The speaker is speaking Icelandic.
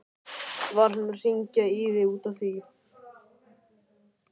Var hann að hringja í þig út af því?